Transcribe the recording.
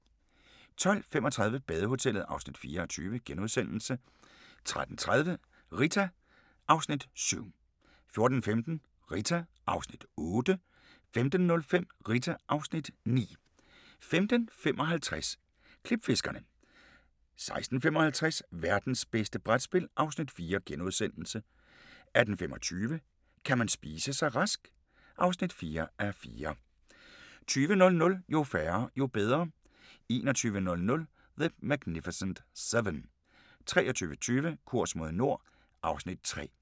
12:35: Badehotellet (4:20)* 13:30: Rita (Afs. 7) 14:15: Rita (Afs. 8) 15:05: Rita (Afs. 9) 15:55: Klipfiskerne 16:55: Værtens bedste brætspil (Afs. 4)* 18:25: Kan man spise sig rask? (4:4) 20:00: Jo færre, jo bedre 21:00: The Magnificent Seven 23:20: Kurs mod nord (Afs. 3)